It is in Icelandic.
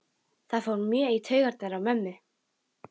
Það fór mjög í taugarnar á mömmu.